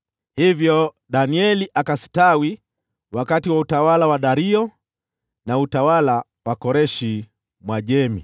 Hivyo Danieli akastawi wakati wa utawala wa Dario, na utawala wa Koreshi Mwajemi.